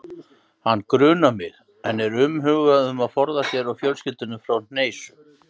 Hann grunar mig, en er umhugað um að forða sér og fjölskyldunni frá hneisu.